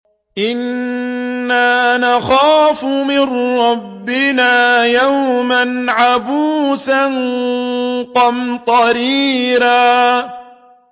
إِنَّا نَخَافُ مِن رَّبِّنَا يَوْمًا عَبُوسًا قَمْطَرِيرًا